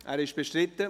– Er ist bestritten.